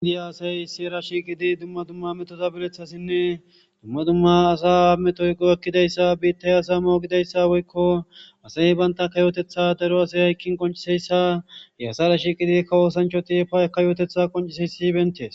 Gidi asay issi rashiqidi dumma dumma metosabilethassinne dumma dumma asa ametoyqo ekkidayssa biittay asa moogidayssa woykko asay baynta kayotetha daro asay haykkin qonciseyssa e asa rashi qidi kawoosanchoti pa eka yootetha qonciseyssi bentes.